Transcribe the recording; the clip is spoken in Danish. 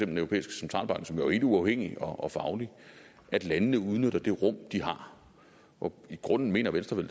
den europæiske centralbank som jo er helt uafhængig og faglig at landene udnytter det rum de har og i grunden mener venstre